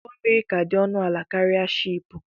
Ụgbọ mmiri kà dị ọnụ ala karịa shị́ị́pù